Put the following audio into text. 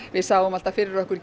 við sáum fyrir okkur